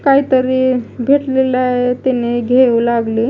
काहीतरी भेटलेलं आहे तिने घेऊ लागली.